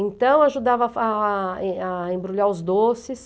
Então, eu ajudava fa a a embrulhar os doces.